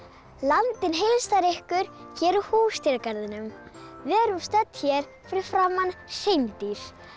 landinn heilsar ykkur hér úr Húsdýragarðinum við erum stödd hér fyrir framan hreindýr